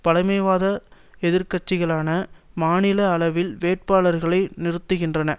பழமைவாத எதிர்கட்சிகளான மாநில அளவில் வேட்பாளர்களை நிறுத்துகின்றன